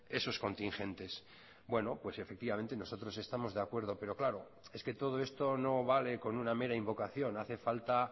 esos contingentes bueno pues efectivamente nosotros estamos de acuerdo pero claro es que todo esto no vale con una mera invocación hace falta